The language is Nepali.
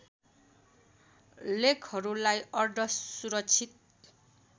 लेखहरूलाई अर्ध सुरक्षित